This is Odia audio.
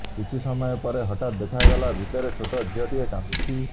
କିଛି ସମୟ ପରେ ହଠାତ୍ ଦେଖା ଗଲା ଭିତରେ ଛୋଟ ଝିଅଟିଏ କାନ୍ଦୁଛି